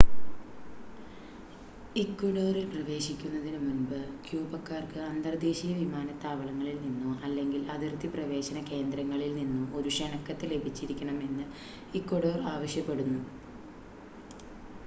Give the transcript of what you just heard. ഇക്വഡോറിൽ പ്രവേശിക്കുന്നതിനു മുൻപ് ക്യൂബക്കാർക്ക് അന്തർദേശീയ വിമാനത്താവളങ്ങളിൽ നിന്നോ അല്ലെങ്കിൽ അതിർത്തി പ്രവേശന കേന്ദ്രങ്ങളിൽ നിന്നോ ഒരു ക്ഷണക്കത്ത് ലഭിച്ചിരിക്കണമെന്ന് ഇക്വഡോർ ആവശ്യപ്പെടുന്നു